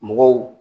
Mɔgɔw